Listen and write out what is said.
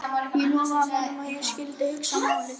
Ég lofaði honum að ég skyldi hugsa málið.